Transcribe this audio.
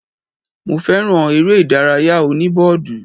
Mo fẹ́ràn eré ìdárayá òní bọ́ọ̀dù